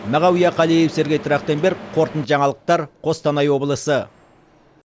мағауия қалиев сергей трахтенберг қорытынды жаңалықтар қостанай облысы